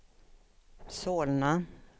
Solna